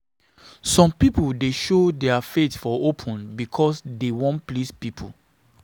Some pipo dey show their faith for open because dey wan please pipo.